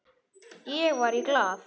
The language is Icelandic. Ég var í Glað.